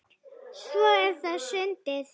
Svo er það sundið.